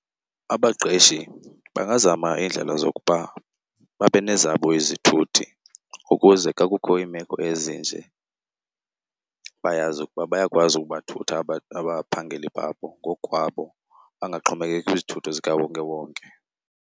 Abaqeshi bangazama iindlela zokuba babe nezabo izithuthi ukuze xa kukho iimeko ezinje bayazi ukuba bayakwazi ukubathutha abaphangeli babo ngokukwabo, bangaxhomekeki kwizithuthi zikawonkewonke.